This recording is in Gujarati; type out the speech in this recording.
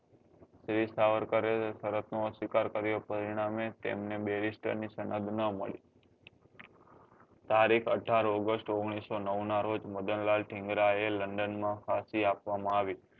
વીર સાવરકરે શરત નો સ્વીકાર કર્યો પરિણામે તેમને berister ની સમજ નાં મળી તારીખ અઢાર oguest ઓગણીસો નવ નાં રોજ મદન લાલ થીન્ગ્રા એ london માં ફાંસી આપવા માં આવી